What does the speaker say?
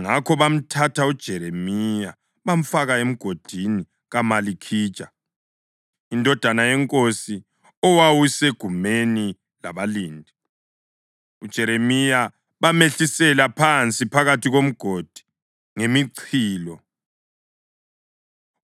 Ngakho bamthatha uJeremiya bamfaka emgodini kaMalikhija, indodana yenkosi, owawusegumeni labalindi. UJeremiya bamehlisela phansi phakathi komgodi ngemichilo;